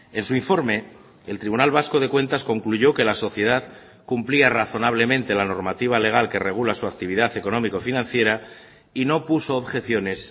en su informe el tribunal vasco de cuentas concluyó que la sociedad cumplía razonablemente la normativa legal que regula su actividad económico financiera y no puso objeciones